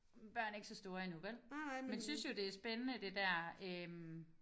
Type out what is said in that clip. Børn er ikke så store endnu vel men synes jo det spændende det er der øh